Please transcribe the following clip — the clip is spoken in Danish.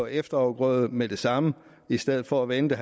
efterafgrøder med det samme i stedet for at vente